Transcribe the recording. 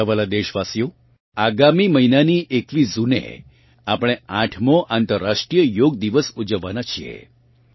મારાં વહાલાં દેશવાસીઓ આગામી મહીનાની 21 જૂને આપણે આઠમો અંતર્રાષ્ટ્રીય યોગ દિવસ ઊજવવાનાં છીએ